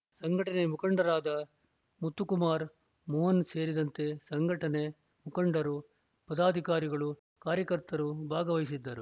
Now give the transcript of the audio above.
ಸಂಘಟನೆ ಮುಖಂಡರಾದ ಮುತ್ತುಕುಮಾರ ಮೋಹನ ಸೇರಿದಂತೆ ಸಂಘಟನೆ ಮುಖಂಡರು ಪದಾಧಿಕಾರಿಗಳು ಕಾರ್ಯಕರ್ತರು ಭಾಗವಹಿಸಿದ್ದರು